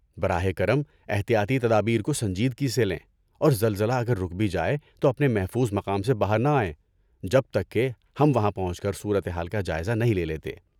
براہ کرم احتیاطی تدابیر کو سنجیدگی سے لیں اور زلزلہ اگر رک بھی جائے تو اپنے محفوظ مقام سے باہر نہ آئیں جب تک کہ ہم وہاں پہنچ کر صورت حال کا جائزہ نہیں لے لیتے۔